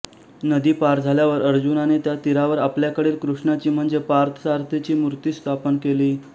नदी पार झाल्यावर अर्जुनाने त्या तीरावर आपल्याकडील कृष्णाची म्हणजे पार्थ सारथीची मूर्ती स्थापन केली